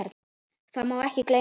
Það má ekki gleyma því.